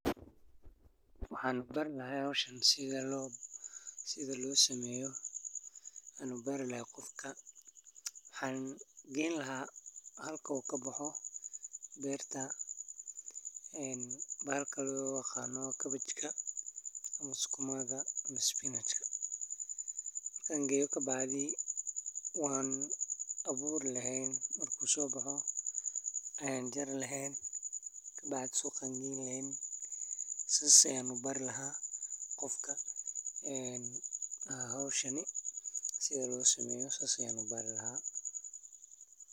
Waxan bari laha howshan sida losameyo anbari laha qofka waxan geyn laha halka u kabaxo beerta bahalka loyaqano cabbage ka ama sukuma ga Spinach ka wan aburi lahyn marko sobaxa wanjari lahyn kabacdi suqa ayan geyn laheyn sida ayan ubari laha qofka een howshani sida losameeyo sas ayan ubari laha.